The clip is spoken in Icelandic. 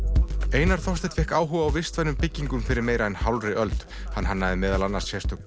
einar Þorsteinn fékk áhuga á vistvænum byggingum fyrir meira en hálfri öld hann hannaði meðal annars sérstök